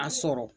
A sɔrɔ